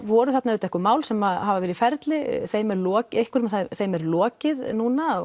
voru þarna einhver mál sem að hafa verið í ferli þeim er lokið einhverjum af þeim er lokið núna